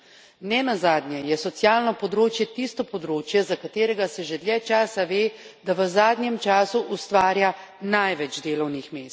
Ne nazadnje je socialno področje tisto področje, za katerega se že dlje časa ve, da v zadnjem času ustvarja največ delovnih mest.